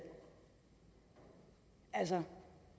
altså